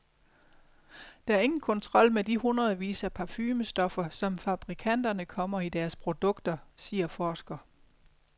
Der er ingen kontrol med de hundredvis af parfumestoffer, som fabrikanterne kommer i deres produkter, siger forsker.